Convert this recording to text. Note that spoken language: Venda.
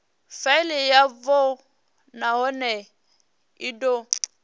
faili yavho nahone i do